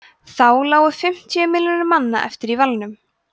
þá lágu fimmtíu milljónir manna eftir í valnum